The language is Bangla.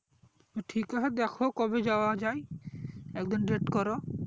ঠিক আছে দ্যাখো কবে যাওয়া যাই একদিন date করো